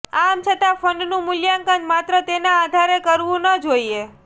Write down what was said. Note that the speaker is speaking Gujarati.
આમ છતાં ફંડનું મૂલ્યાંકન માત્ર તેના આધારે કરવું ન જોઇએ